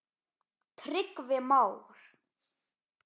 Tryggvi Már.